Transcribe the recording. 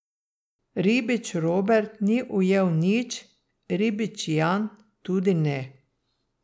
Ribič Robert ni ujel nič, ribič Jan tudi ne.